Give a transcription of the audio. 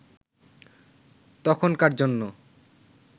তখনকার জন্য